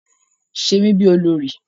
Ṣe mi bí olórí.